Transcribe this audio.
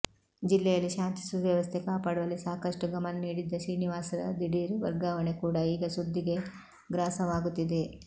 ಜಿಲ್ಲೆಯಲ್ಲಿ ಶಾಂತಿ ಸುವ್ಯವಸ್ಥೆ ಕಾಪಾಡುವಲ್ಲಿ ಸಾಕಷ್ಟು ಗಮನ ನೀಡಿದ್ದ ಶ್ರೀನಿವಾಸ್ರ ದಿಢೀರ್ ವರ್ಗಾವಣೆ ಕೂಡಾ ಈಗ ಸುದ್ದಿಗೆ ಗ್ರಾಸವಾಗುತ್ತಿದೆ